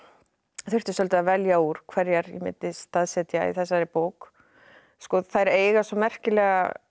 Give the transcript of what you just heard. þurfti svolítið að velja úr hverjar ég myndi staðsetja í þessari bók þær eiga svo merkilegar